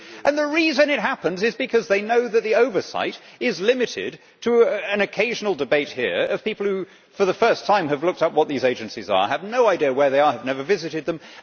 The reason it happens is because they know that the oversight is limited to an occasional debate here involving people who, for the first time, have looked up what these agencies are, have no idea where they are and have never visited them.